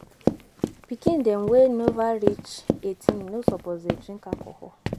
Pikin dem wey nova reach 18 no suppose dey drink alcohol